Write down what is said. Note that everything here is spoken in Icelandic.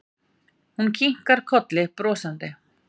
Hún kinkar kolli brosandi.